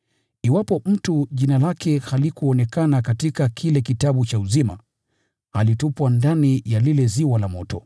Iwapo mtu jina lake halikuonekana katika kile kitabu cha uzima, alitupwa ndani ya lile ziwa la moto.